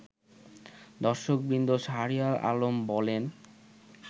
দর্শকবৃন্দ শাহরিয়ার আলম বলেন